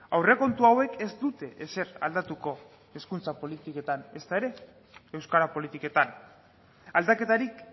aurrekontu hauek ez dute ezer aldatuko hezkuntza politiketan ezta ere euskara politiketan aldaketarik